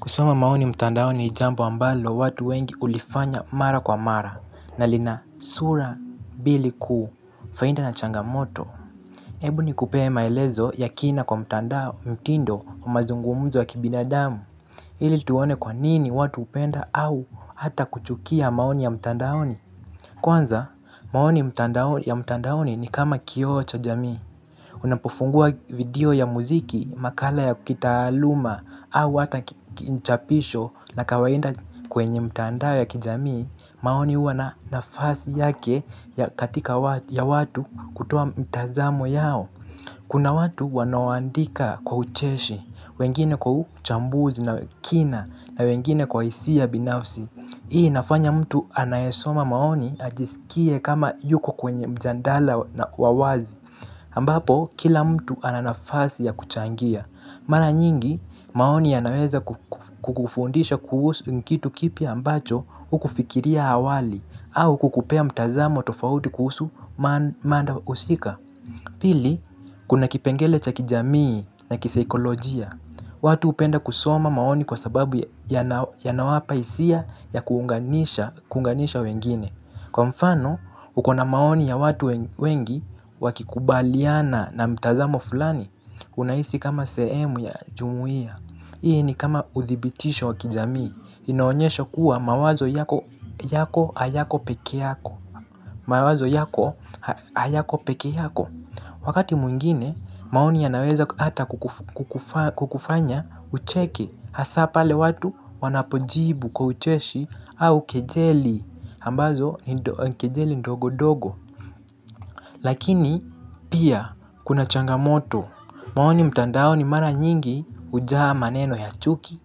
Kusoma maoni mtandaoni ni jambo ambalo watu wengi hulifanya mara kwa mara na lina sura mbili kuu faida na changamoto. Ebu nikupee maelezo ya kina kwa mtandao mtindo wa mazungumzo wa kibinadamu ili tuone kwa nini watu hupenda au hata kuchukia maoni ya mtandaoni. Kwanza maoni ya mtandaoni ni kama kioo cha jamii. Unapofungua video ya muziki makala ya kitaaluma au hata kichapisho na kawaida kwenye mtandao ya kijamii maoni huwa na nafasi yake ya katika ya watu kutoa mtazamo yao. Kuna watu wanoandika kwa ucheshi, wengine kwa uchambuzi na kina na wengine kwa hisia binafsi. Hii inafanya mtu anayesoma maoni ajisikie kama yuko kwenye mjadala na wa wazi ambapo, kila mtu ananafasi ya kuchangia. Mara nyingi, maoni yanaweza kukufundisha kuhusu kitu kipi ambacho hukufikiria awali au kukupea mtazamo tofauti kuhusu mada husika. Pili, kuna kipengele cha kijamii na kisaikolojia. Watu hupenda kusoma maoni kwa sababu yanawapa hisia ya kuunganisha wengine. Kwa mfano, ukona maoni ya watu wengi wakikubaliana na mtazamo fulani, unahisi kama sehemu ya jumuia. Hii ni kama uthibitisho wa kijamii, inaonyesha kuwa mawazo yako hayako pekee yako. Wakati mwingine, maoni yanaweza hata kukufanya ucheke hasa pale watu wanapojibu kwa ucheshi au kijeli. Ambazo ni kijeli ndogo-dogo. Lakini pia kuna changamoto. Maoni mtandaoni mara nyingi hujaa maneno ya chuki,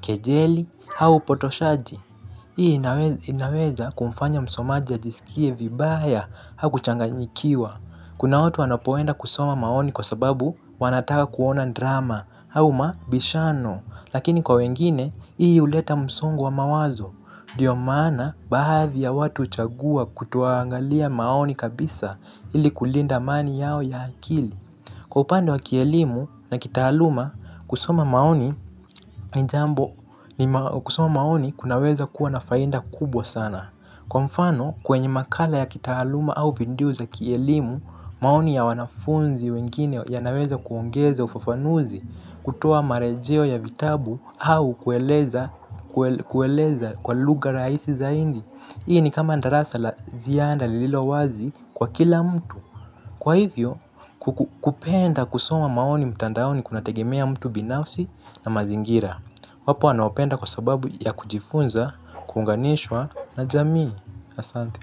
kijeli, au upotoshaji. Hii inaweza kumfanya msomaji ajisikie vibaya au kuchanganyikiwa. Kuna watu wanapoenda kusoma maoni kwa sababu wanataka kuona drama au mabishano. Lakini kwa wengine hii huleta msongo wa mawazo. Ndiyo maana baadhi ya watu huchagua kutoangalia maoni kabisa ili kulinda amani yao ya akili. Kwa upande wa kielimu na kitaaluma, kusoma maoni maoni kunaweza kuwa na faida kubwa sana. Kwa mfano, kwenye makala ya kitaaluma au vindiu za kielimu, maoni ya wanafunzi wengine yanaweza kuongeza ufafanuzi. Kutoa marejeo ya vitabu au kueleza kwa lugha rahisi zaidi. Hii ni kama darasa la ziada lililo wazi kwa kila mtu. Kwa hivyo kupenda kusoma maoni mtandaoni kuna tegemea mtu binafsi na mazingira. Wapo wanaopenda kwa sababu ya kujifunza, kuunganishwa na jamii. Asante.